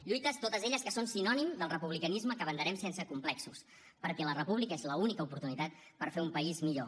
lluites totes elles que són sinònim del republicanisme que abanderem sense complexos perquè la república és l’única oportunitat per fer un país millor